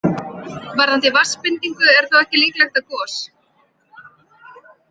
Varðandi vatnsbindingu er þó ekki líklegt að gos.